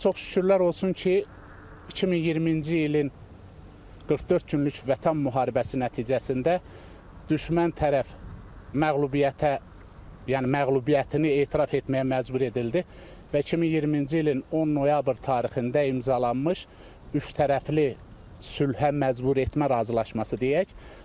Ancaq çox şükürlər olsun ki, 2020-ci ilin 44 günlük Vətən müharibəsi nəticəsində düşmən tərəf məğlubiyyətə, yəni məğlubiyyətini etiraf etməyə məcbur edildi və 2020-ci ilin 10 noyabr tarixində imzalanmış üçtərəfli sülhə məcbur etmə razılaşması deyək.